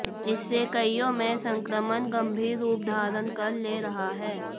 इससे कइयों में संक्रमण गंभीर रूप धारण कर ले रहा है